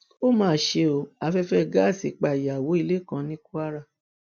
ó máa ṣe ọ afẹfẹ gáàsì pa ìyàwó ilé kan ní kwara